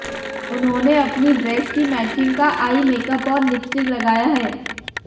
उन्होंने अपनी ड्रेस की मैचिंग का आई मेकअप और लिपस्टिक लगाया है